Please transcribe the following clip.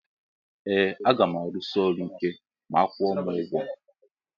Ee agam arusi ọrụ ike ma akwụọ m ugwọ.